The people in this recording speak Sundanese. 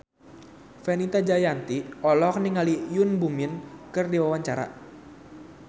Fenita Jayanti olohok ningali Yoon Bomi keur diwawancara